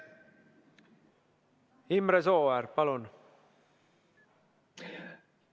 Imre Sooäär, palun!